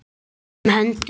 Erla sat ekki auðum höndum.